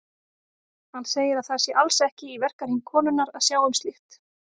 Hann segir að það sé alls ekki í verkahring konunnar að sjá um slíkt.